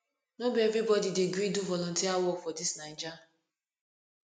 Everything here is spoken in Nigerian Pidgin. no be everybodi dey gree do volunteer work for dis naija